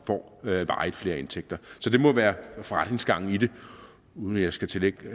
får flere indtægter så det må være forretningsgangen i det uden at jeg skal tillægge